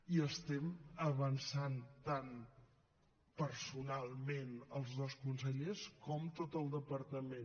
hi estem avançant tant personalment els dos consellers com tot el departament